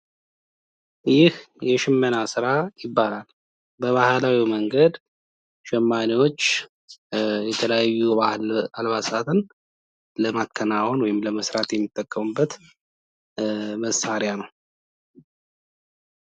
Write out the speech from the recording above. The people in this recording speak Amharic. ይህ የሽመና ስራ ይባላል። በባህላዊ መንገድ ሸማኔዎች የተለያዩ የባህል አልባሳትን ለማከናወን ወይም ለመስራት የሚጠቀሙበት መሳርያ ነው።